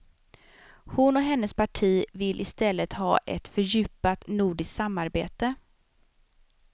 Hon och hennes parti vill i stället ha ett fördjupat nordiskt samarbete.